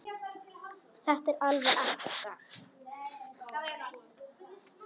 Þetta er alveg ekta.